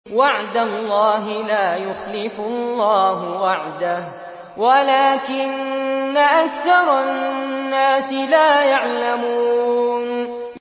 وَعْدَ اللَّهِ ۖ لَا يُخْلِفُ اللَّهُ وَعْدَهُ وَلَٰكِنَّ أَكْثَرَ النَّاسِ لَا يَعْلَمُونَ